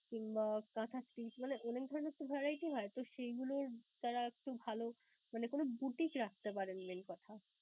কিংবা মানে অনেক ধরণের তো variety হয়, তো সেইগুলোর দ্বারা একটু ভালো মানে কোন boutique রাখতে পারেন main কথা.